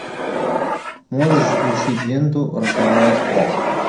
можешь включить ленту роковая страсть